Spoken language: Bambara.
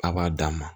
A b'a d'a ma